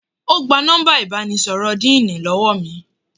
Ó gba nọ́mbà ìbánisọ̀rọ̀ díìnì lọ́wọ́ mi